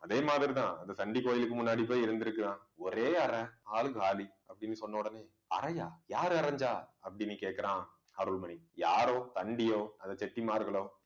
அதே மாதிரி தான் அந்த சண்டி கோயிலுக்கு முன்னாடி போய் இருந்திருக்கலாம். ஒரே அறை ஆளு காலி அப்படின்னு சொன்ன உடனே அறையா யாரு அறைஞ்சா அப்படீன்னு கேக்குறான் அருள்மணி யாரோ சண்டியோ அந்த செட்டிமார்களோ